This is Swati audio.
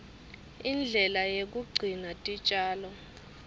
indlela yekugcina titjalo